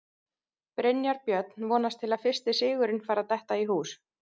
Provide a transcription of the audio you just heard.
Brynjar Björn vonast til að fyrsti sigurinn fari að detta í hús.